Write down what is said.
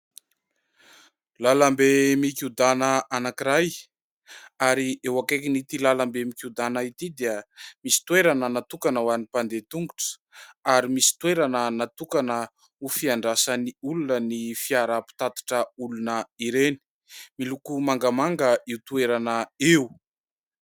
Lalambe mikiodana anankiray. Ary eo ankaikin' ity lalambe mikodana ity dia misy toerana natokana ho any mpandeha tongotra, ary misy toerana natokana ho fiandrasan'ny olona ny fiara-pitatitra olona ireny. Miloko mangamanga io toerana io